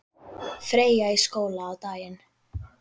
Freyja í skóla á daginn.